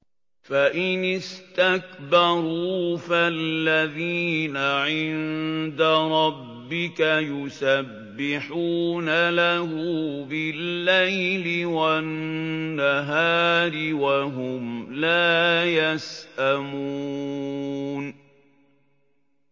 فَإِنِ اسْتَكْبَرُوا فَالَّذِينَ عِندَ رَبِّكَ يُسَبِّحُونَ لَهُ بِاللَّيْلِ وَالنَّهَارِ وَهُمْ لَا يَسْأَمُونَ ۩